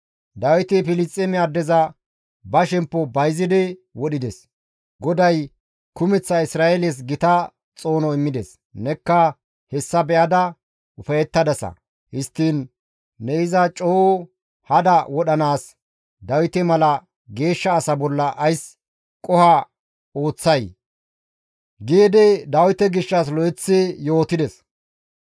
Dawiti Filisxeeme addeza ba shemppo bayzidi wodhides; GODAY kumeththa Isra7eeles gita xoono immides; nekka hessa be7ada ufayettadasa. Histtiin ne iza coo hada wodhanaas Dawite mala geeshsha asa bolla ays qoho ooththay?» giidi Dawite gishshas lo7eteththi yootides.